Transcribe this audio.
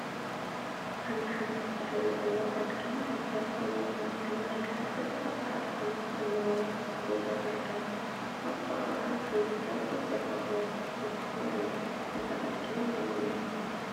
ሓንቲ ሓሙክሽቲ ሕብሪ ዘለዋ አድጊ አብ በረኻ እናገሃፀት አብ ፃዕዳ ሓመድ አለዎ ቦታ ትርከብ፡፡ አብ ጥቃአ ከዓ ክልተ ጥቁር በርበረ ዝበሃል ተክሊ አሎ፡፡ እዛ አድጊ ናይ መን እያ?